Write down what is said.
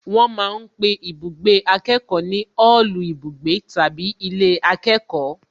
Wọ́n ma ń pe ibùgbé akẹ́kọ̀ọ́ ní òòlù ibùgbé tàbí ilé akẹ́kọ̀ọ́